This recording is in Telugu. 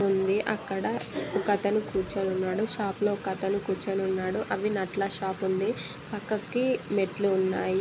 అక్కడ ఒక అతను కూర్చుని ఉన్నాడు షాప్ లో ఒక అతను కూర్చుని ఉన్నాడు అవి నట్ల షాప్ ఉంది పక్కకి మెట్లు ఉన్నాయి.